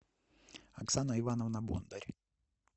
оксана ивановна бондарь